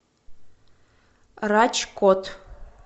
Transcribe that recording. раджкот